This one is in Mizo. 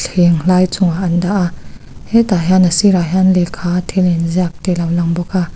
thleng hlai chungah an dah a hetah hian a sirah hian lehkha a thil inziak te a lo lang bawk a.